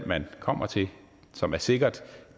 man kommer til og som er sikkert